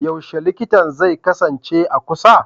Yaushe likitan zai kasance a kusa?